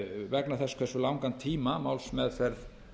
vegna þess hversu langan tíma málsmeðferð